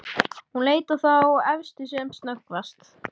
Hún leit á þá efstu sem snöggvast.